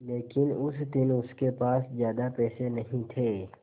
लेकिन उस दिन उसके पास ज्यादा पैसे नहीं थे